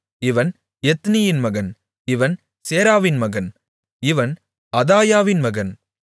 இவன் எத்னியின் மகன் இவன் சேராவின் மகன் இவன் அதாயாவின் மகன்